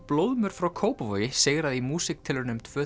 blóðmör frá Kópavogi sigraði í músíktilraunum tvö